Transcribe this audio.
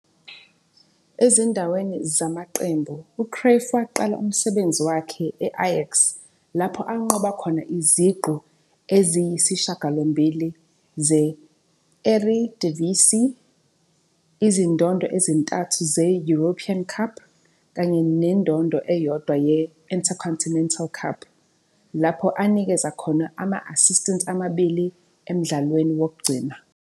Ezindaweni zamaqembu, uCruyff waqala umsebenzi wakhe e-I-Ajax, lapho anqoba khona iziqu eziyisishiyagalombili ze-Eredivisie, izingoma ezintathu ze-European Cup, kanye nengoma eyodwa ye-Intercontinental Cup, lapho anikeza khona ama-assist amabili emdlalweni wokugcina.